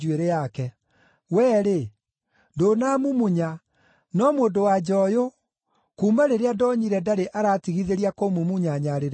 Wee-rĩ, ndũnaamumunya, no mũndũ-wa-nja ũyũ, kuuma rĩrĩa ndonyire ndarĩ aratigithĩria kũmumunya nyarĩrĩ ciakwa.